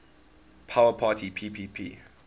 power parity ppp